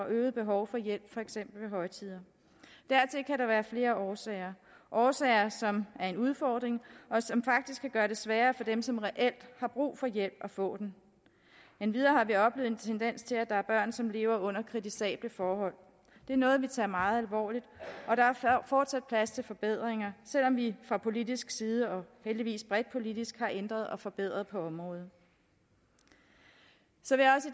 øget behov for hjælp for eksempel højtider dertil kan der være flere årsager årsager som er en udfordring og som faktisk kan gøre det sværere for dem som reelt har brug for hjælp at få den endvidere har vi oplevet en tendens til at der er børn som lever under kritisable forhold det er noget vi tager meget alvorligt og der er fortsat plads til forbedringer selv om vi fra politisk side og heldigvis bredt politisk har ændret og forbedret på området så